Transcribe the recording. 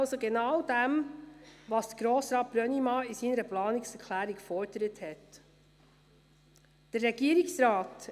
Ich bitte die Regierung, sich nicht hinter meiner Planungserklärung zu verstecken.